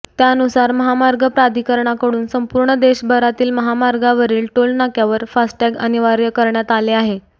त्यानुसार महामार्ग प्राधिकरणाकडून संपूर्ण देशभरातील महामार्गावरील टोल नाक्यावर फास्टॅग अनिवार्य करण्यात आले आहे